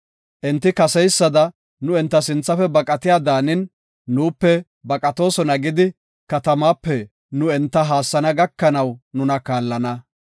Enti kesseysada nu enta sinthafe baqatiya daanin, nuupe baqatoosona gidi, katamaape nu enta haassana gakanaw nuna kaallana.